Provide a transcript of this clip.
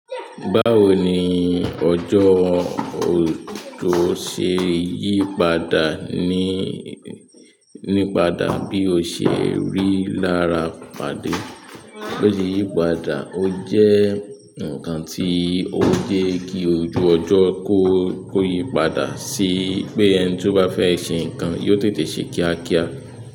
Báwo ni ọjọ́ ò tó ṣe yípadà ní, nípadà bí o ṣe rí lára pàdé. Bó ṣe yípadà ó jẹ nǹkan tí o jẹ́ kí ojú ọjọ kó yípadà sí pé ẹni tó bá fẹ ṣe nǹkan yóò tètè se ni kíákíá.